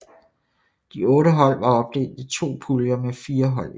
De otte hold var opdelt i to puljer med fire hold i hver